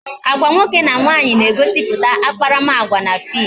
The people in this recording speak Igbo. Agwa nwoke na nwaanyị na-egosiputa akparamagwa na fim